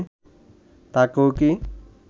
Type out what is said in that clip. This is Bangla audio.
তাঁকেও কী